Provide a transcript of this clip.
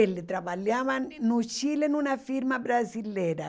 Ele trabalhavam no Chile numa firma brasileira.